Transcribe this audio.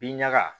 Bin ɲaga